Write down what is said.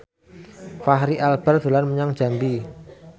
Fachri Albar dolan menyang Jambi